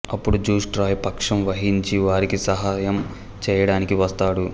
అప్పుడు Zeus Troy పక్షం వహించి వారికీ సహాయం చెయ్యడానికి వస్తాడు